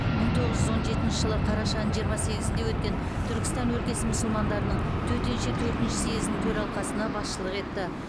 мың тоғыз жүз он жетінші жылы қарашаның жиырма сегізінде өткен түркістан өлкесі мұсылмандарының төтенше төртінші съезінің төралқасына басшылық етті